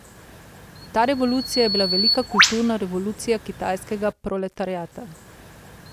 Ta revolucija je bila velika kulturna revolucija kitajskega proletariata.